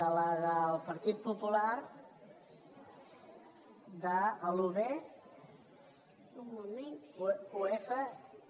de la del partit popular de l’un